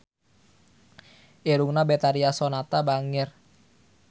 Irungna Betharia Sonata bangir